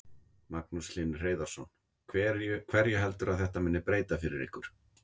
Magnús Hlynur Hreiðarsson: Hverju heldurðu að þetta muni breyta fyrir ykkur?